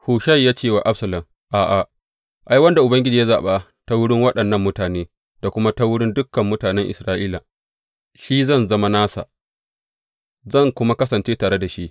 Hushai ya ce wa Absalom, A’a, ai, wanda Ubangiji ya zaɓa ta wurin waɗannan mutane, da kuma ta wurin dukan mutane Isra’ila, shi zan zama nasa, zan kuma kasance tare da shi.